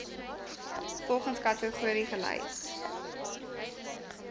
volgens kategorie gelys